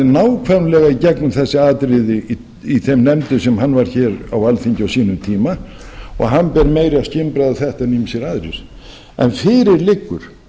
nákvæmlega í gegnum þessi atriði í þeim nefndum sem hann var í hér á alþingi á sínum tíma hann ber meira skynbragð á þetta en ýmsir aðrir en fyrir liggur